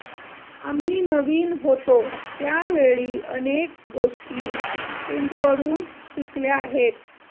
आम्ही नवीन होतो त्यावेळी अनेक गोष्टी प्रिण्टकडून शिकल्या आहेत